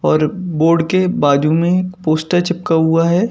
और बोर्ड के बाजू में एक पोस्टर चिपका हुआ है।